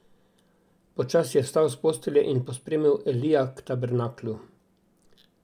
Počasi je vstal s postelje in pospremil Elija k tabernaklju.